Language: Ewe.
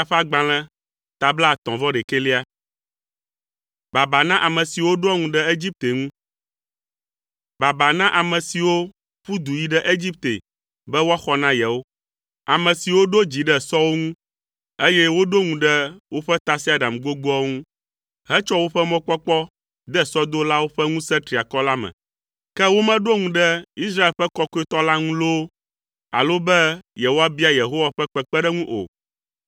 Baba na ame siwo ƒu du yi ɖe Egipte be woaxɔ na yewo; ame siwo ɖo dzi ɖe sɔwo ŋu, eye woɖo ŋu ɖe woƒe tasiaɖam gbogboawo ŋu, hetsɔ woƒe mɔkpɔkpɔ de sɔdolawo ƒe ŋusẽ triakɔ la me. Ke womeɖo ŋu ɖe Israel ƒe Kɔkɔetɔ la ŋu loo alo be yewoabia Yehowa ƒe kpekpeɖeŋu o.